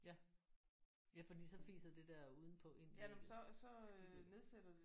Ja. Ja fordi så fiser det der udenpå ind i ægget. Skidtet